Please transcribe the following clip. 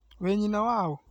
Wĩ nyina wa ũ?